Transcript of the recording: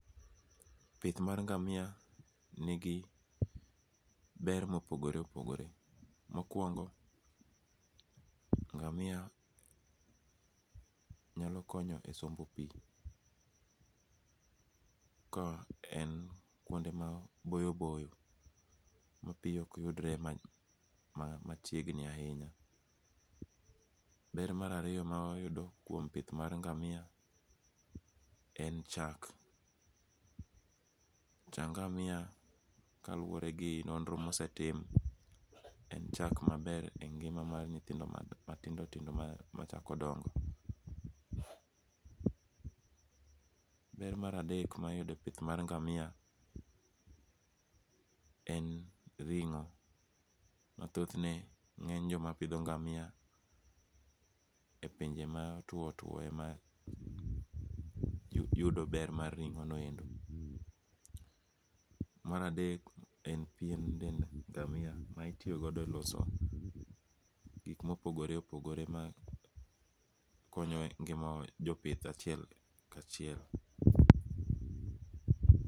Pith mar ngamia nigi ber mopogore opogore. Mokuongo' ngamia nyalo konyo e sombo pi ka en kuonde ma boyo boyo ma pi okyudre machiegni ahinya, ber marariyo ma wayudo kuom pith mar ngamia en chak, cha ngamia kaluore gi nondro mosetim cha ngamia ber e ngima mar nyithindo matindo tindo ma machako dongo, ber mar adek ma iyudo e pith mar ngamia en ringo' ma thothne nge'ny jomapitho ngamia e pinje ma otwo two ema yudo ber mar ringo'noendo. Mar adek en pien dend ngamia ma itiyogodo e loso gik ma opogore opogore ma konyo ngima jo pith achiel kachiel